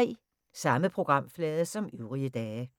Samme programflade som øvrige dage